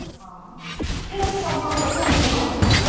ହଁ ହଁ ହଁ ଠିକ୍ ଅଛେ ସେ ପଦ୍ମା ମୁଇଁ ରଖୁଛେ ସେ ହେଁ।